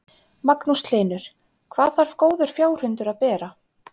Magnús Hlynur: Hvað þarf góður fjárhundur að bera?